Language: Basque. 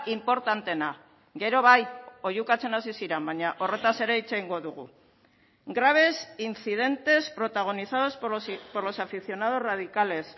inportanteena gero bai oihukatzen hasi ziren baina horretaz ere hitz egingo dugu grabes incidentes protagonizados por los aficionados radicales